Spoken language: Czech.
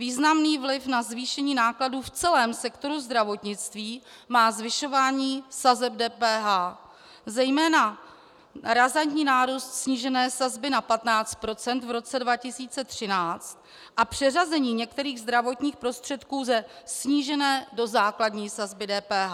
Významný vliv na zvýšení nákladů v celém sektoru zdravotnictví má zvyšování sazeb DPH, zejména razantní nárůst snížené sazby na 15 % v roce 2013 a přeřazení některých zdravotních prostředků ze snížené do základní sazby DPH.